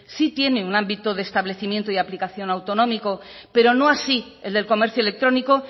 sí tiene un ámbito de establecimiento y aplicación autonómico pero no así el del comercio electrónico